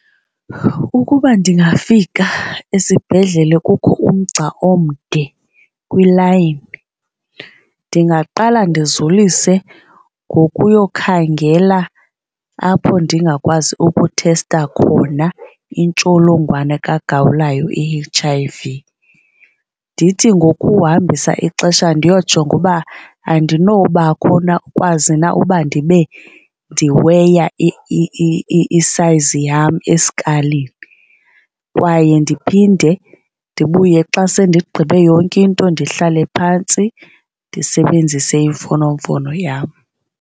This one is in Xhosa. Ukuba ndingafika esibhedlele kukho umgca omde kwilayini, ndingaqala ndizulise ngokuyokhangela apho ndingakwazi ukuthesta khona intsholongwane kagawulayo, i-H_I_V. Ndithi ngokuhambisa ixesha ndiyojonga uba andinobakho na ukwazi na uba ndibe ndiweya i-size yam eskalini. Kwaye ndiphinde ndibuye xa sendigqibe yonke into ndihlale phantsi ndisebenzise imfonomfono yam.